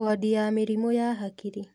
Wondi ya mĩrimũ ya hakiri